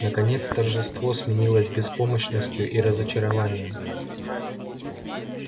наконец торжество сменилось беспомощностью и разочарованием